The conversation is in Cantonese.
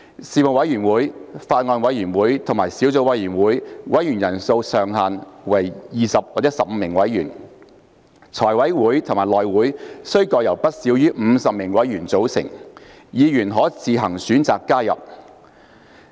事務委員會、法案委員會及小組委員會的委員人數上限為20或15名委員；財務委員會及內會須各由不少於50名委員組成，議員可自行選擇加入。